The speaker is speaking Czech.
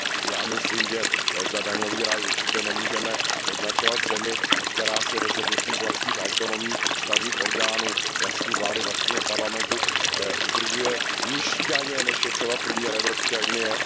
Já myslím, že za daňový ráj určitě nemůžeme označovat zemi, která si rozhodnutím vlastních autonomních ústavních orgánů, vlastní vlády, vlastního parlamentu udržuje nižší daně, než je třeba průměr Evropské unie.